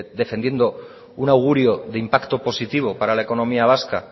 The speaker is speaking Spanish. defendiendo un augurio de impacto positivo para la economía vasca